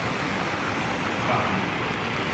кану